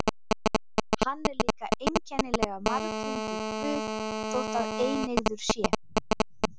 Hann er líka einkennilega marglyndur guð þó að eineygður sé.